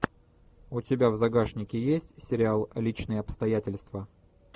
у тебя в загашнике есть сериал личные обстоятельства